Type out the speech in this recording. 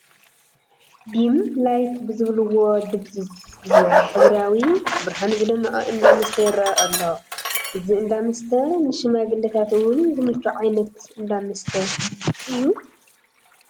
ዲም ላይት ብዝብልዎ ድብዝዝ ብዝበለ ሕብራዊ ብርሃን ዝደመቐ እንዳ መስተ ይርአ ኣሎ፡፡ እዚ እንዳመስተ ንሽማግለታት እውን ዝምቹ ዓይነት እንዳ መስተ ድዩ?